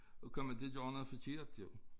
At komme til at gøre noget forkert jo